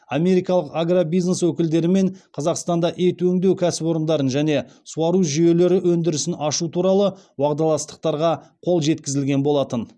америкалық агробизнес өкілдерімен қазақстанда ет өңдеу кәсіпорындарын және суару жүйелері өндірісін ашу туралы уағдаластықтарға қол жеткізілген болатын